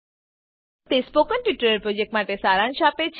તે spoken tutorial પ્રોજેક્ટનો સારાંશ આપે છે